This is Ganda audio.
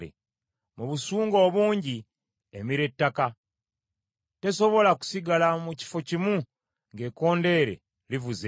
Mu busungu obungi emira ettaka, tesobola kusigala mu kifo kimu ng’ekkondeere livuze.